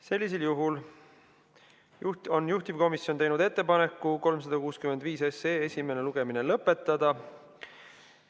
Sellisel juhul on juhtivkomisjon teinud ettepaneku eelnõu 365 esimene lugemine lõpetada.